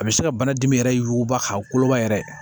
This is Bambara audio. A bɛ se ka bana dimi yɛrɛ yuguuguba k'a koloba yɛrɛ